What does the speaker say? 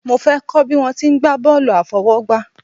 Mo fẹ́ kọ́ bí wọ́n ti ń gba bọ́ọ̀lù àfọwọ́gbá